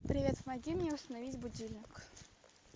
привет помоги мне установить будильник